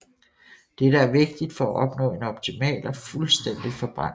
Dette er vigtigt for at opnå en optimal og fuldstændig forbrænding